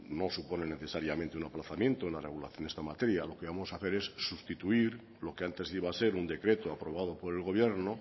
no supone necesariamente un aplazamiento en la regulación de esta materia lo que vamos a hacer es sustituir lo que antes iba a ser un decreto aprobado por el gobierno